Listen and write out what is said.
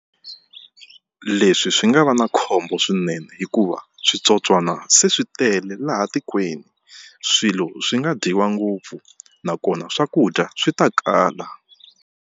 Leswi swi nga va na khombo swinene hikuva switsotswana se swi tele laha tikweni swilo swi nga dyiwa ngopfu nakona swakudya swi ta kala.